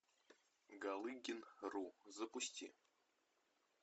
галыгин ру запусти